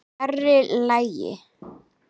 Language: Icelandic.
Fyrri kaflinn er eftir